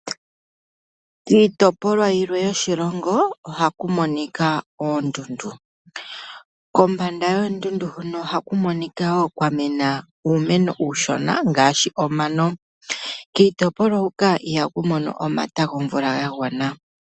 Kiitopolwa yimwe yoshilongo ohaku monika oondundu. Kombanda yoondundu huka ohaku monika wo kwa mena uumeno uushona ngaashi omano. Kiitopolwa huka ihaku mono omata gomvula ga gwana.